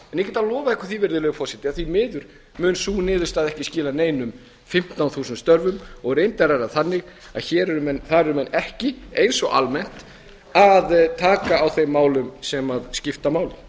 get lofað ykkur því virðulegi forseti að því miður mun sú niðurstaða ekki skila neinum fimmtán þúsund störfum og reyndar er það þannig að þar eru menn ekki eins og almennt að taka á þeim málum sem skipta máli